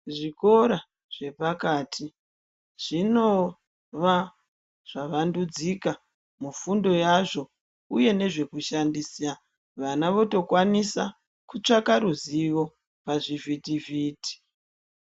Zvikora zvepakati zvinova zvaka vandudzika kufundo yazvo uye nezve kushandisa vana votokwanisa kutsvaka ruzivo pazvi vhiti vhiti.